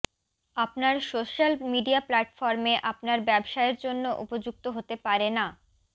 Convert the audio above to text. আপনার social media প্ল্যাটফর্মে আপনার ব্যবসায়ের জন্য উপযুক্ত হতে পারে না